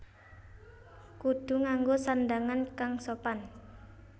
Kudu nganggo sandhangan kang sopan